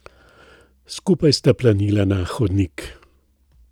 Skupaj sta planila na hodnik.